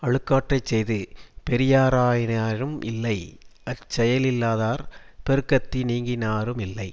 அழுக்காற்றைச் செய்து பெரியராயினாரும் இல்லை அச்செயலிலாதார் பெருக்கத்தி னீங்கினாரு மில்லை